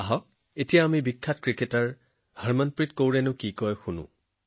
আহক আমি এতিয়া বিখ্যাত ক্ৰিকেটাৰ হৰমনপ্ৰীত কৌৰ জীৰ কথা শুনো